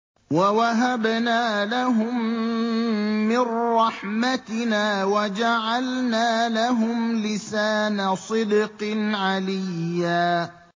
وَوَهَبْنَا لَهُم مِّن رَّحْمَتِنَا وَجَعَلْنَا لَهُمْ لِسَانَ صِدْقٍ عَلِيًّا